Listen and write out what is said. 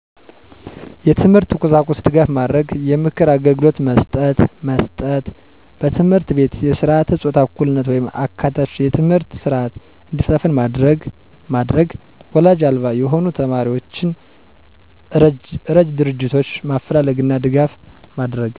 የትምህርት ቁሳቁስ ድጋፍ ማድረግ። የምክር አግልግሎት መስጠት መስጠት። በትምህርት ቤት የስረዓተ ፆታ እኩልነት ወይም አካታች የትምህርት ስረዐት እንዲሰፍን ማድረግ ማድረግ ወላጅ አልባ የሆኑ ተማሪዎችን እረጅ ድርጆቶችን ማፈላለግና ድጋፍ ማድረግ